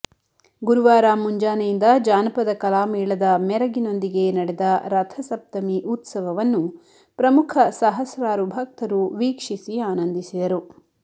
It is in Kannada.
ಗುರುವಾರ ಮುಂಜಾನೆಯಿಂದ ಜಾನಪದಕಲಾಮೇಳದ ಮೆರಗಿನೊಂದಿಗೆ ನಡೆದ ರಥಸಪ್ತಮಿ ಉತ್ಸವವನ್ನು ಪ್ರಮುಖ ಸಹಸ್ರಾರು ಭಕ್ತರು ವೀಕ್ಷಿಸಿ ಆನಂದಿಸಿದರು